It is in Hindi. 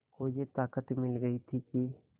को ये ताक़त मिल गई थी कि